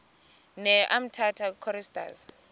ne umtata choristers